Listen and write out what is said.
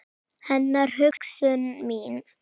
Hennar hugsun mín.